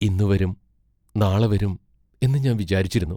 ഇന്നു വരും, നാളെ വരും എന്നു ഞാൻ വിചാരിച്ചിരുന്നു.